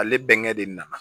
Ale bɛnkɛ de nana